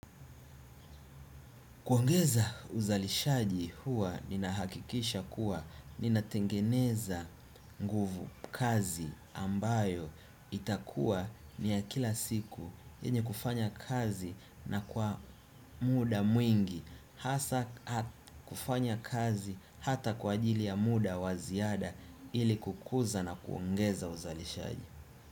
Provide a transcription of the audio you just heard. Kuongeza uzalishaji huwa nina hakikisha kuwa nina tengeneza nguvu, kazi ambayo itakua ni ya kila siku yenye kufanya kazi na kwa muda mwingi hasa kufanya kazi hata kwa ajili ya muda wa ziada ili kukuza na kuongeza uzalishaji.